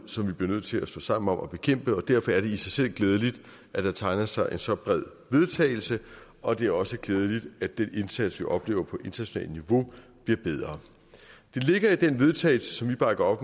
som vi bliver nødt til at stå sammen om at bekæmpe derfor er det i sig selv glædeligt at der tegner sig så bred en vedtagelse og det er også glædeligt at den indsats vi oplever på internationalt niveau bliver bedre det ligger i den vedtagelse som vi bakker op